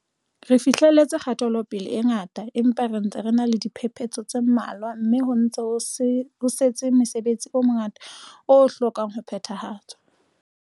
Re fihleletse kgatelope-le e ngata, empa re ntse re ena le diphepetso tse mmalwa mme ho ntse ho setse mosebetsi o mongata o hlokang ho phethahatswa.